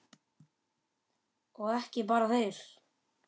Og ekki bara þeir.